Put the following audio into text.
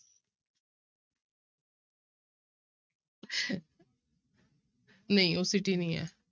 ਨਹੀਂ ਨੀ ਹੈ